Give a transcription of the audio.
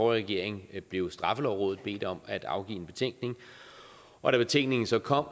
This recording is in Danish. regering blev straffelovrådet bedt om at afgive en betænkning og da betænkningen så kom